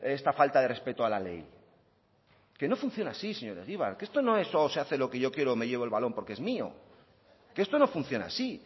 esta falta de respeto a la ley que no funciona así señor egibar que esto no es o se hace lo que yo quiero o me llevo el balón porque es mío que esto no funciona así